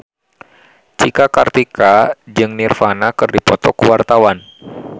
Cika Kartika jeung Nirvana keur dipoto ku wartawan